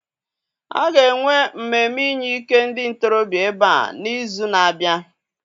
A ga-enwe mmemme inye ike ndị ntorobịa ebe a n'izu na-abịa.